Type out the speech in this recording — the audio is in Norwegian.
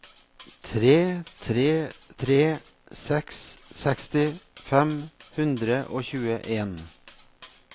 tre tre tre seks seksti fem hundre og tjueen